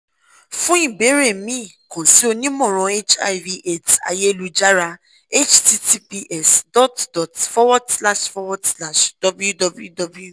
fun ìbéèrè mi kan si onímọ̀ràn hiv aids ayélujára https dot dot forward slash forward slash www